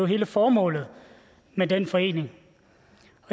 hele formålet med den forening